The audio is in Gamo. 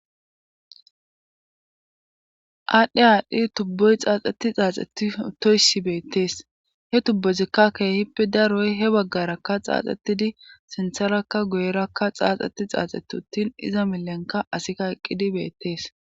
aadhdhe aadhdhi tubboy xaaxxeti xaaxxeti utoyssi beettees he tubbozikka keehippe daroy he baggarakka xaaxxetidi sintharakka guyerakka xaaxxeti xaaxeti uttin iza milenka asikka eqqidi beettees